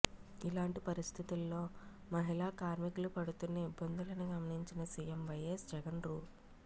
ఇలాంటి పరిస్థితుల్లో మహిళా కార్మికులు పడుతున్న ఇబ్బందులను గమనించిన సీఎం వైఎస్ జగన్ రూ